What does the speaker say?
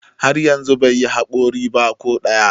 har yanzu bai yi haƙori ba ko ɗaya